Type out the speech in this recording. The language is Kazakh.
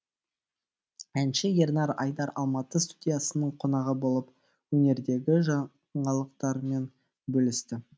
әнші ернар айдар алматы студиясының қонағы болып өнердегі жаңалықтарымен бөлісті